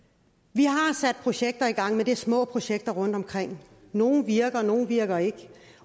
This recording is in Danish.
vi har sat projekter i gang men det er små projekter rundtomkring nogle virker og nogle virker ikke